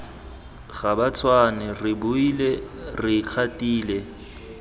gabatshwane re boile re ikgatile